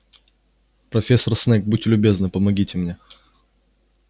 профессор снегг будьте любезны помогите мне